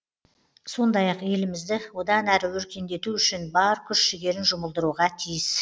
сондай ақ елімізді одан әрі өркендету үшін бар күш жігерін жұмылдыруға тиіс